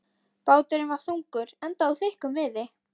Báturinn var þungur, enda úr þykkum viði.